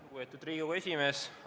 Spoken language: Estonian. Lugupeetud Riigikogu esimees!